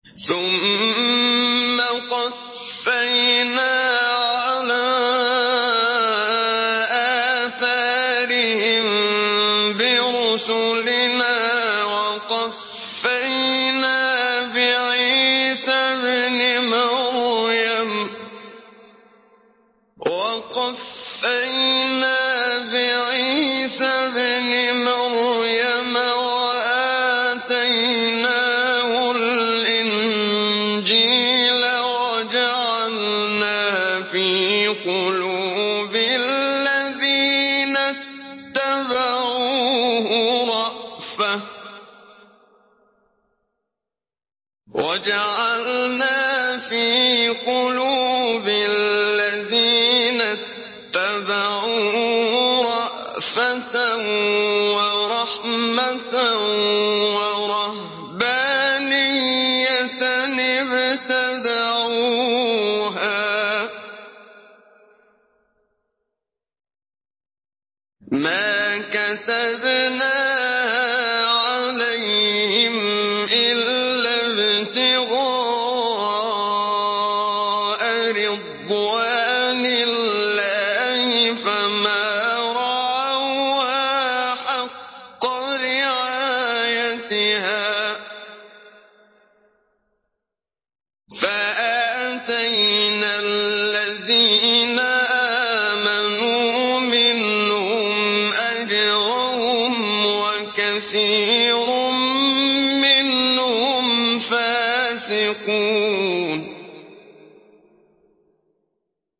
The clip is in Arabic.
ثُمَّ قَفَّيْنَا عَلَىٰ آثَارِهِم بِرُسُلِنَا وَقَفَّيْنَا بِعِيسَى ابْنِ مَرْيَمَ وَآتَيْنَاهُ الْإِنجِيلَ وَجَعَلْنَا فِي قُلُوبِ الَّذِينَ اتَّبَعُوهُ رَأْفَةً وَرَحْمَةً وَرَهْبَانِيَّةً ابْتَدَعُوهَا مَا كَتَبْنَاهَا عَلَيْهِمْ إِلَّا ابْتِغَاءَ رِضْوَانِ اللَّهِ فَمَا رَعَوْهَا حَقَّ رِعَايَتِهَا ۖ فَآتَيْنَا الَّذِينَ آمَنُوا مِنْهُمْ أَجْرَهُمْ ۖ وَكَثِيرٌ مِّنْهُمْ فَاسِقُونَ